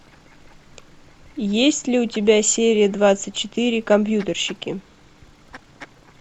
есть ли у тебя серия двадцать четыре компьютерщики